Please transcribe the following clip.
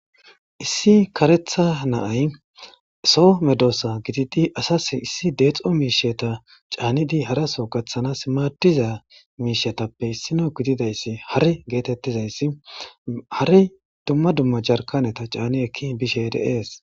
issi karetha na'ay Soo medoosa gididi asase issi deexo miisheta caanidi haraso gaththana simaadiza miishetappe issino gididayssi hari geetettizayssi hari dumma dumma jarkaneta caani ekki bishe de'es